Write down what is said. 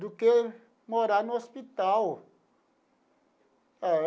do que morar no hospital.